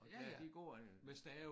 Og ja de går øh